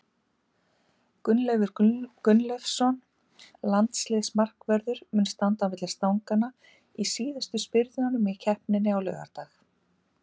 Gunnleifur Gunnleifsson, landsliðsmarkvörður, mun standa á milli stanganna í síðustu spyrnunum í keppninni á laugardag.